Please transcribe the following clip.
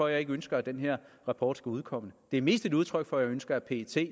jeg ikke ønsker at den her rapport skal udkomme det er mest et udtryk for at jeg ønsker at pet